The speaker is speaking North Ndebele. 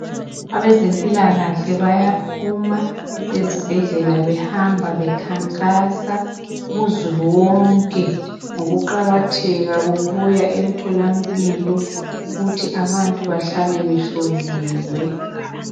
Abezempilakahle ikahle bayaphuma ezibhedlela behamba bekhankasa kuzulu wonke ngokuqakatheka kokuya emtholamphilo ukuthi abantu bahlale behloliwe.